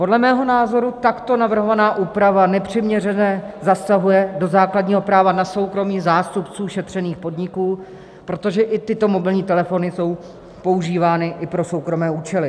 Podle mého názoru takto navrhovaná úprava nepřiměřeně zasahuje do základního práva na soukromí zástupců šetřených podniků, protože i tyto mobilní telefony jsou používány i pro soukromé účely.